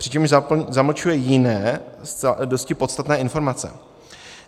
přičemž zamlčuje jiné, dosti podstatné informace.